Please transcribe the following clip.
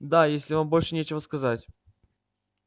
да если вам больше нечего сказать